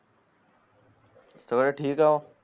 sir ठीक हाओ